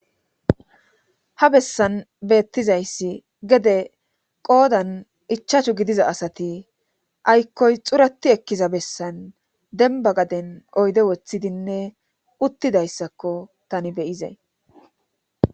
Ha bessan beettizayssi gede qoodan ichachu gidiza asati aykkoy xurati ekkiza bessan denba gaden oyde woththidinne uttidayssakko tani beyizey